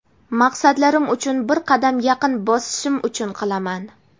maqsadlarim uchun bir qadam yaqin bosishim uchun qilaman.